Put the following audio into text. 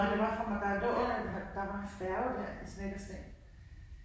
Nej det var fra, det var under en halv. Der var en færge der i Snekkesten